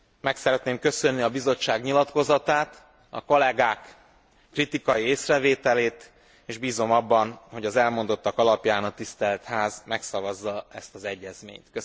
Meg szeretném köszönni a Bizottság nyilatkozatát, a kollégák kritikai észrevételét, és bízom abban, hogy az elmondottak alapján a Tisztelt Ház megszavazza ezt az egyezményt.